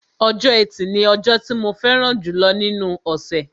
Ọjọ́ ẹtì ni ọjọ́ tí mo fẹ́ràn jùlọ nínú ọ̀ṣẹ̀